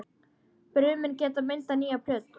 Brumin geta myndað nýja plöntu.